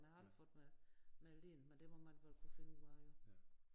Men jeg har aldrig fået mig meldt ind men det må man vel kunne finde ud af jo